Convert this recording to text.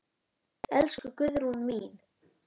Elsku Guðrún mín.